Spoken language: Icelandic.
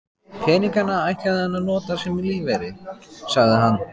Peningana ætlaði hann að nota sem lífeyri, sagði hann.